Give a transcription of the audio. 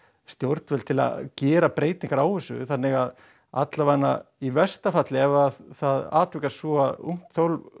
stjórnvöld til að gera breytingar á þessu þannig að í versta falli ef að það atvikast svo að ungt